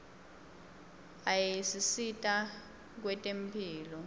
ayasisita kwetemphilo